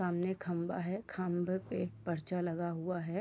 सामने खंभा है खंभे पे एक पर्चा लगा हुआ है।